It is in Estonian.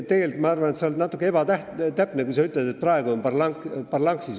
Tegelikult, ma arvan, sa oled natukene ebatäpne, kui sa ütled, et praegu on parlanksis.